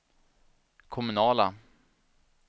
kommunala